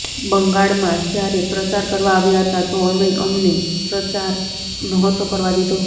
બંગાળમાં જ્યારે પ્રચાર કરવા આવ્યા હતા તો અમે અમને પ્રચાર નહોતો કરવા દીધો